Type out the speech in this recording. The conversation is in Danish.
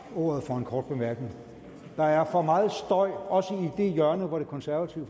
ordet for en kort bemærkning der er for meget støj også i det hjørne hvor det konservative